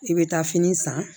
I bɛ taa fini san